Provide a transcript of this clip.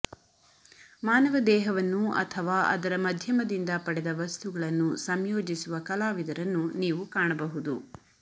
ಮಾನವ ದೇಹವನ್ನು ಅಥವಾ ಅದರ ಮಧ್ಯಮದಿಂದ ಪಡೆದ ವಸ್ತುಗಳನ್ನು ಸಂಯೋಜಿಸುವ ಕಲಾವಿದರನ್ನು ನೀವು ಕಾಣಬಹುದು